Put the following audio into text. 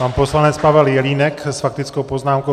Pan poslanec Pavel Jelínek s faktickou poznámkou.